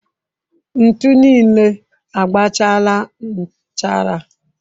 Ntu niile agbachaala nchara.